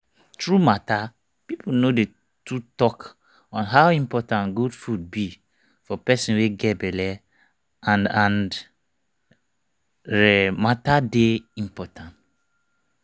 true matter people no dey to talk on how important good food be for person wey get belle and and rhe matter dey important